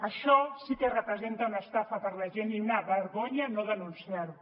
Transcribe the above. això sí que representa una estafa per a la gent i una vergonya no denunciar ho